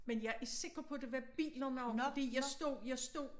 Men jeg er sikker på det var bilerne også fordi jeg stod jeg stod